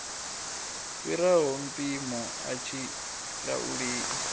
fhiraho mpimo a tshi lauleli